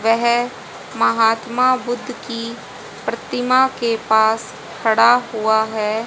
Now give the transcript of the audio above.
वेह महात्मा बुद्ध की प्रतिमा के पास खड़ा हुआ है।